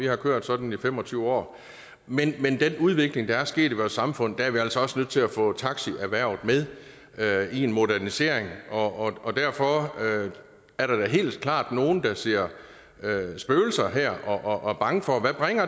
har kørt sådan i fem og tyve år men med den udvikling der er sket i vores samfund er vi altså også nødt til at få taxierhvervet med med i en modernisering og og derfor er der da helt klart nogle der ser spøgelser her og er bange for hvad